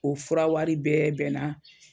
O fura wari bɛɛ bɛnna